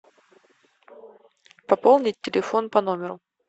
пополнить телефон по номеру